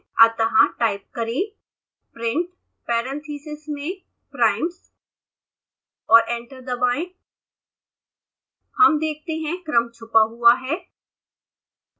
अतः टाइप करें print parentheses में primes और एंटर दबाएं हम देखते हैं क्रम छपा हुआ है